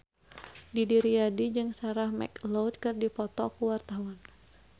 Didi Riyadi jeung Sarah McLeod keur dipoto ku wartawan